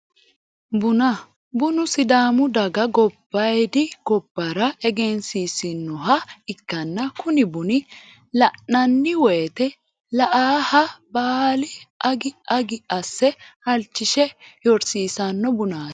buna bunu sidaamu daga gobbaayiidi gobbara egensiisinoha ikkanna kuni buni la'nanni woyeete la"aaha baali agi agi asse halchishe yorsiisanno bunaati.